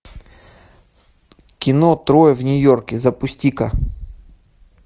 кино трое в нью йорке запусти ка